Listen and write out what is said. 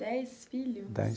Dez filhos?